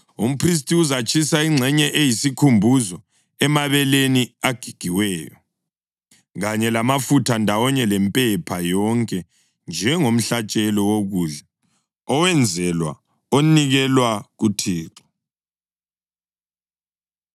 Umphristi uzatshisa ingxenye eyisikhumbuzo emabeleni agigiweyo, kanye lamafutha ndawonye lempepha yonke njengomhlatshelo wokudla owenzelwa onikelwa kuThixo.’ ”